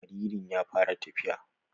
Jaririn ya fara tafiya.